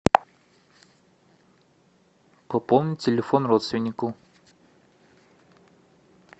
пополнить телефон родственнику